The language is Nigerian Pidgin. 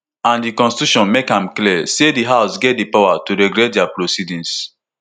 and di constitution make am clear say di house get di power to regulate dia proceedings